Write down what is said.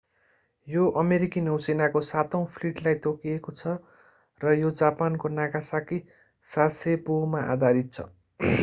यो अमेरिकी नौसेनाको सातौँ फ्लिटलाई तोकिएको छ र यो जापानको नागासाकी सासेबोमा आधारित छ